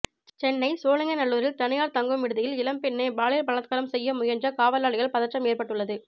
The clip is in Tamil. சென்னை சோழிங்கநல்லூரில் தனியார் தங்கும் விடுதியில் இளம்பெண்ணை பாலியல் பலாத்காரம் செய்ய முயன்ற காவலாளியால் பதற்றம் ஏற்பட்டுள்ளது